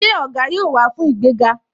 Ṣé Ògá yóò wá fún ìgbéga?